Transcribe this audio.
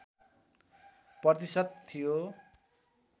प्रतिशत थियो